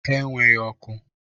Ha enweghi ọkụ.